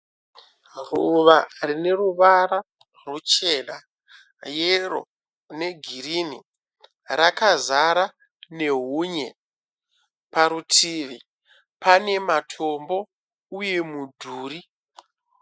Ruva rineruvara rwuchena, yero negirinhi. rakazara nehunye. Parutivi pane matombo uye mudhuri.